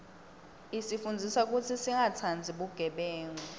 isifundzisa kutsi singatsandzi bugebengu